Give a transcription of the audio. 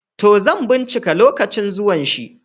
To, zan ɓincika lokacin zuwan shi.